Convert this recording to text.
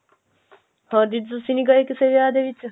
ਹੋਰ ਦੀਦੀ ਤੁਸੀਂ ਨੀ ਗਏ ਕਿਸੇ ਵਿਆਹ ਦੇ ਵਿੱਚ